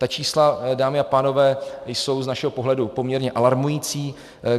Ta čísla, dámy a pánové, jsou z našeho pohledu poměrně alarmující.